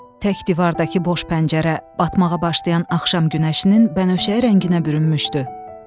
Tək divardakı boş pəncərə batmağa başlayan axşam günəşinin bənövşəyi rənginə bürünmüşdü.